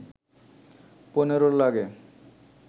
পনেরো লাগে